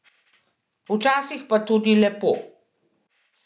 Včasih pa tudi lepo.